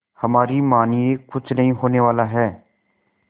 हमारी मानिए कुछ नहीं होने वाला है